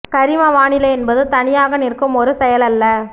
கரிம வானிலை என்பது தனியாக நிற்கும் ஒரு செயல் அல்ல